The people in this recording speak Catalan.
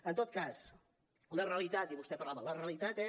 en tot cas una realitat i vostè parlava la realitat és